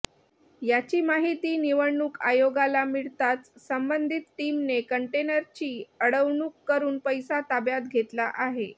याची माहिती निवडणुक आयोगाला मिळताच संबंधीत टीमने कंटेनरची अडवणुक करून पैसा ताब्यात घेतला आहे